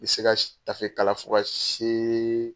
N bi se ka tafe kala fo ka see